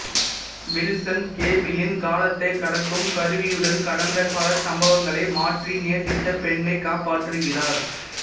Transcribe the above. Wilson கேபிளின் காலத்தை கடக்கும் கருவியுடன் கடந்த கால சம்பவங்களை மாற்றி நேசித்த பெண்ணை காப்பாற்றுகிறார்